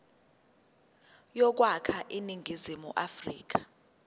yokwakha iningizimu afrika